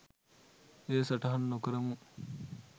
එය සටහන් නොකරමු